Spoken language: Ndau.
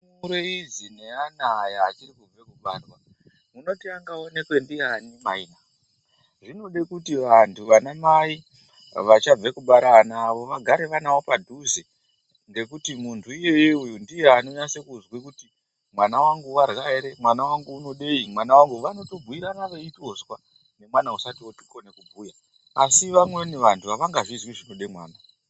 Ndumure idzi neana aya achiri kubve kubarwa munoti angaonekwe ndiyani mai .Zvinode kuti vantu vanamai vachabve kubara ana awo vagare vanawo padhuze ngekuti muntu iyeyeye ndiye unonyase kuswe kuti mwna wangu warya ere mwana wangu unodei mwana wangu .Vanotobhuirana veitozwa nemwana usati ookone kubhuya asi vamweni vantu avangazvizii zvinode mwana .